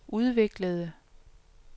udviklede